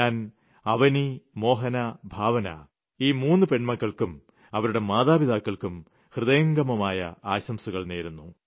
ഞാൻ അവനി മോഹന ഭാവന ഈ മൂന്ന് പെൺമക്കൾക്കും അവരുടെ മാതാപിതാക്കൾക്കും ഹൃദയംഗമമായ ആശംസകൾ നേരുന്നു